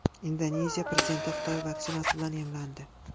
Indoneziya prezidenti Xitoy vaksinasi bilan emlandi.